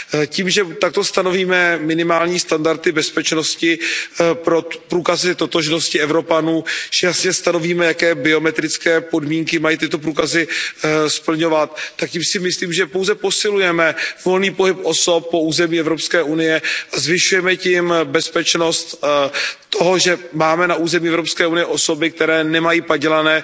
Tím, že takto stanovíme minimální standardy bezpečnosti pro průkazy totožnosti Evropanů, že jasně stanovíme, jaké biometrické podmínky mají tyto průkazy splňovat, tak tím si myslím, že pouze posilujeme volný pohyb osob po území EU a zvyšujeme tím bezpečnost toho, že máme na území EU osoby, které nemají padělané